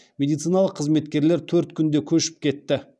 медициналық қызметкерлер төрт күнде көшіп кетті